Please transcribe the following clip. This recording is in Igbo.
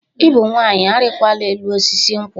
"Ị bụ nwanyị, Arịkwala elu osisi nkwụ!"